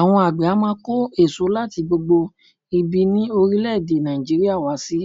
Àwọn àgbè á máa kó èso láti gbogbo ibi ní orílè èdè Nàìjíríà wá sí